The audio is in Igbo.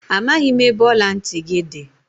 Amaghị m ebe ọla ntị gị dị.